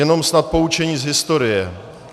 Jenom snad poučení z historie.